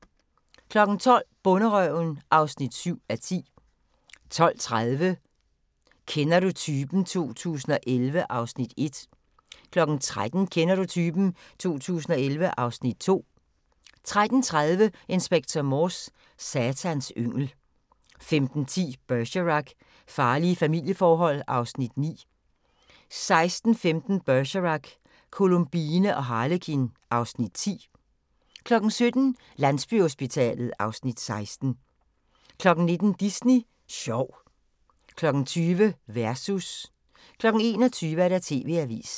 12:00: Bonderøven (7:10) 12:30: Kender du typen? 2011 (Afs. 1) 13:00: Kender du typen? 2011 (Afs. 2) 13:30: Inspector Morse: Satans yngel 15:10: Bergerac: Farlige familieforhold (Afs. 9) 16:05: Bergerac: Columbine og Harlekin (Afs. 10) 17:00: Landsbyhospitalet (Afs. 16) 19:00: Disney Sjov 20:00: Versus 21:00: TV-avisen